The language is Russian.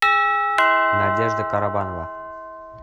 надежда карабанова